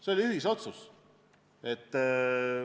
See oli ühisotsus.